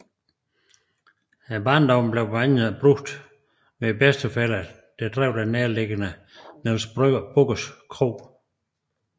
Barndommen blev blandt andet brugt hos bedsteforældrene der drev den nærtliggende Niels Bugges Kro